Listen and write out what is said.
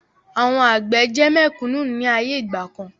Àwọn àgbẹ̀ jẹ́ mẹ̀kúnnù ni ayé ìgbàkan